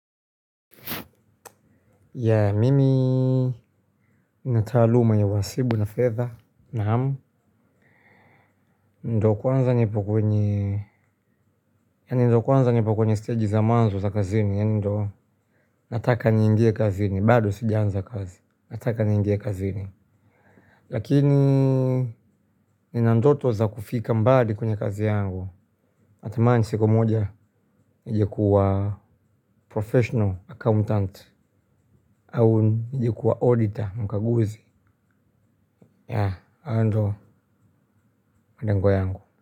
Yeah, mimi nina taaluma ya uhasibu na fedha, naam. Ndo kwanza nipo kwenye, ndo kwanza nipo kwenye stage za mwanzo za kazini. Ndo nataka niingie kazini. Bado sijaanza kazi. Nataka niingie kazini. Lakini nina ndoto za kufika mbali kwenye kazi yangu. Natamani siku moja nije kuwa professional accountant au nije kuwa auditor mkaguzi. Yeah, hayo ndiyo malengo yangu.